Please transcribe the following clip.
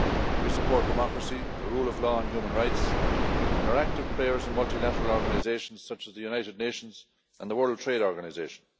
We support democracy, the rule of law and human rights, and are active players in multilateral organisations such as the United Nations and the World Trade Organization.